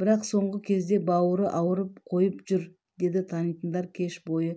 бірақ соңғы кезде бауыры ауырып қойып жүр деді танитындар кеш бойы